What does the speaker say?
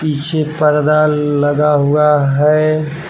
पीछे पर्दा लगा हुआ है।